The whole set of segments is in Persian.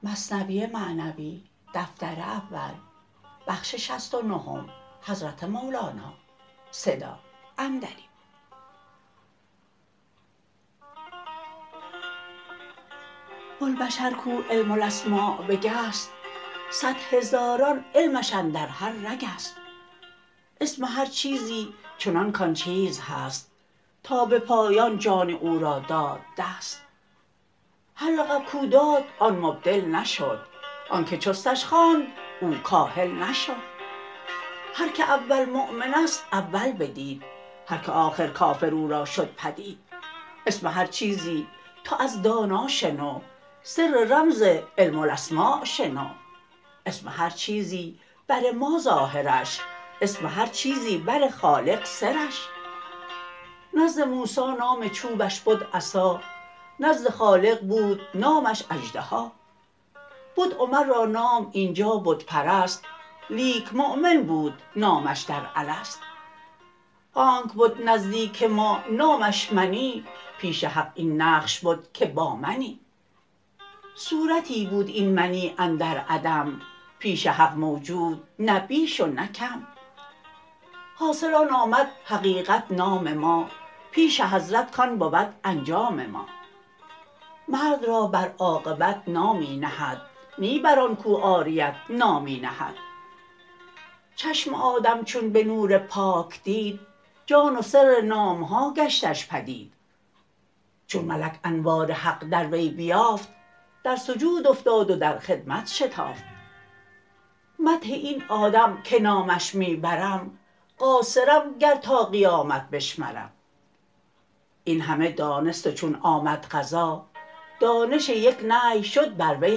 بوالبشر کو علم الاسما بگست صد هزاران علمش اندر هر رگست اسم هر چیزی چنان کان چیز هست تا به پایان جان او را داد دست هر لقب کو داد آن مبدل نشد آنک چستش خواند او کاهل نشد هر که اول مؤمن است اول بدید هر که آخر کافر او را شد پدید اسم هر چیزی تو از دانا شنو سر رمز علم الاسما شنو اسم هر چیزی بر ما ظاهرش اسم هر چیزی بر خالق سرش نزد موسی نام چوبش بد عصا نزد خالق بود نامش اژدها بد عمر را نام اینجا بت پرست لیک مؤمن بود نامش در الست آنک بد نزدیک ما نامش منی پیش حق این نقش بد که با منی صورتی بود این منی اندر عدم پیش حق موجود نه بیش و نه کم حاصل آن آمد حقیقت نام ما پیش حضرت کان بود انجام ما مرد را بر عاقبت نامی نهد نی بر آن کو عاریت نامی نهد چشم آدم چون به نور پاک دید جان و سر نام ها گشتش پدید چون ملک انوار حق از وی بتافت در سجود افتاد و در خدمت شتافت مدح این آدم که نامش می برم قاصرم گر تا قیامت بشمرم این همه دانست و چون آمد قضا دانش یک نهی شد بر وی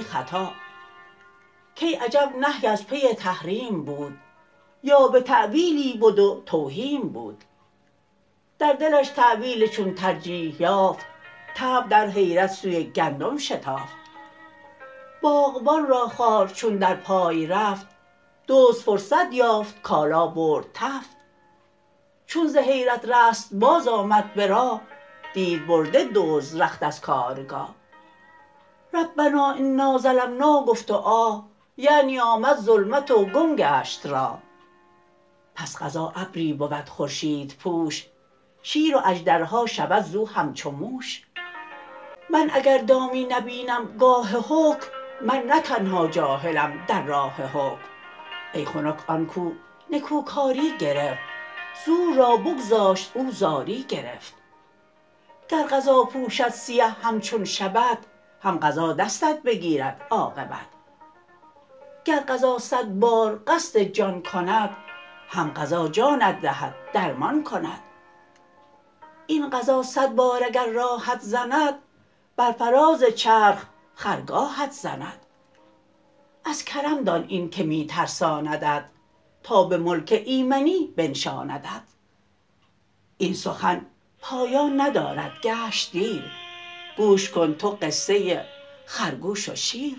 خطا کای عجب نهی از پی تحریم بود یا به تاویلی بد و توهیم بود در دلش تاویل چون ترجیح یافت طبع در حیرت سوی گندم شتافت باغبان را خار چون در پای رفت دزد فرصت یافت کالا برد تفت چون ز حیرت رست باز آمد به راه دید برده دزد رخت از کارگاه ربنا انا ظلمنا گفت و آه یعنی آمد ظلمت و گم گشت راه پس قضا ابری بود خورشیدپوش شیر و اژدرها شود زو همچو موش من اگر دامی نبینم گاه حکم من نه تنها جاهلم در راه حکم ای خنک آن کو نکوکاری گرفت زور را بگذاشت او زاری گرفت گر قضا پوشد سیه همچون شبت هم قضا دستت بگیرد عاقبت گر قضا صد بار قصد جان کند هم قضا جانت دهد درمان کند این قضا صد بار اگر راهت زند بر فراز چرخ خرگاهت زند از کرم دان این که می ترساندت تا به ملک ایمنی بنشاندت این سخن پایان ندارد گشت دیر گوش کن تو قصه خرگوش و شیر